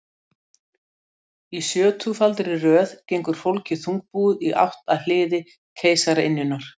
Í sjötugfaldri röð gengur fólkið þungbúið í átt að hliði keisaraynjunnar.